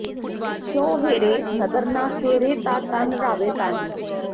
ਜੇ ਸ਼ਹੁ ਹੇਰੇ ਨਦਰ ਨਾ ਫੇਰੇ ਤਾ ਧਨ ਰਾਵੇ ਤਾਹੀਂ